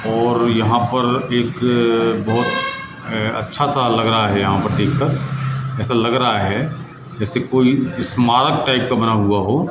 और यहां पर एक बहोत अच्छा सा लग रहा है ऐसा लग रहा है यहां पर देख कर ऐसा लग रहा है जैसे कोई स्मारक टाइप का बना हुआ हो।